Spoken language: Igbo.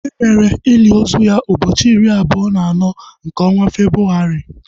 Emere ili ozu ya ụbọchị iri abụọ na anọ nke ọnwa Febrụwarị